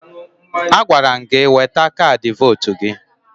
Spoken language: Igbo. Agwara m gị weta kaadị votu gị!